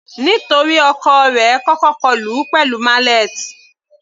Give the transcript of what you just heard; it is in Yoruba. Nítorí ọkọ rẹ̀ kọ́kọ́ kọlù ú pẹ̀lú mallet.